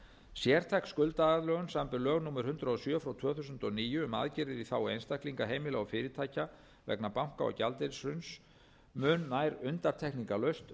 sértæk skuldaaðlögun samanber lög númer hundrað og sjö tvö þúsund og níu um aðgerðir í þágu einstaklinga heimila og fyrirtækja vegna banka og gjaldeyrishrunsins mun nær undantekningarlaust